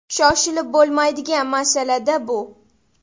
Shoshilib bo‘lmaydigan masala-da bu.